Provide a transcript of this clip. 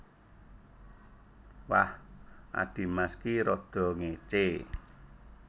Wah adhimas ki rada ngécé